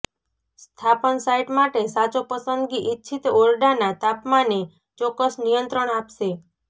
સ્થાપન સાઇટ માટે સાચો પસંદગી ઇચ્છિત ઓરડાના તાપમાને ચોક્કસ નિયંત્રણ આપશે